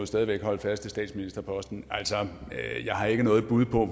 stadig væk holde fast i statsministerposten altså jeg har ikke noget bud på